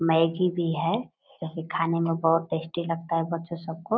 Maggi भी है जो की की खाने में बहुत टेस्टी लगता है बच्चों सब को।